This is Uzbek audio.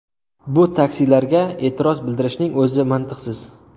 Bu taksilarga e’tiroz bildirishning o‘zi mantiqsiz.